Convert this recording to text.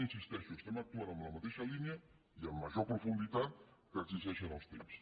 hi insisteixo estem actuant en la mateixa línia i amb major profunditat com ho exigeixen els temps